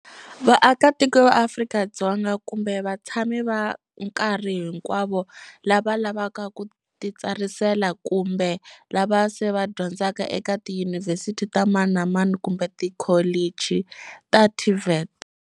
Vaakatiko va Afrika-Dzonga kumbe vatshami va nkarhi hinkwawo lava lavaka ku titsarisela kumbe lava se va dyondzaka eka tiyunivhesiti ta mani na mani kumbe tikholichi ta TVET.